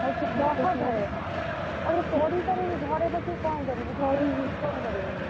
ହଉ ତୁ କହ ଘରେ, ଆଉ ପଢି ସାରିକି ବି ଘରେ ବସି କଣ କରିବୁ ।